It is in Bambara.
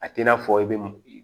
A t'i n'a fɔ i be